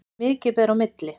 Mikið ber á milli.